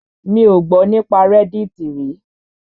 Mi ò gbọ́ nípa reddit rí.